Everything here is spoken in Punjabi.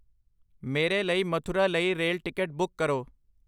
ਮੇਰੇ ਲਈ ਮਥੁਰਾ ਲਈ ਰੇਲ ਟਿਕਟ ਬੁੱਕ ਕਰੋ